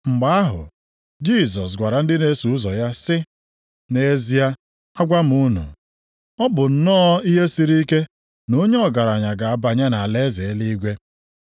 Mgbe ahụ Jisọs gwara ndị na-eso ụzọ ya sị, “Nʼezie agwa m unu, ọ bụ nnọọ ihe siri ike na onye ọgaranya ga-abanye nʼalaeze eluigwe.